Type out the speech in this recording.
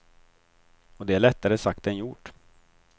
Och det är lättare sagt än gjort.